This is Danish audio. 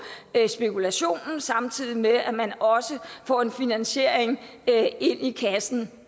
spekulationen samtidig med at man også får en finansiering ind i kassen